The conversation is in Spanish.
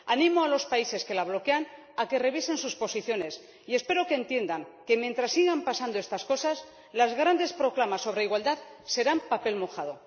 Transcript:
Animo a los países que la bloquean a que revisen sus posiciones y espero que entiendan que, mientras sigan pasando estas cosas, las grandes proclamas sobre igualdad serán papel mojado.